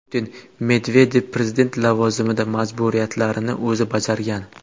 Putin: Medvedev prezident lavozimida majburiyatlarini o‘zi bajargan.